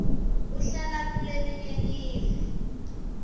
uhlala kulelinye live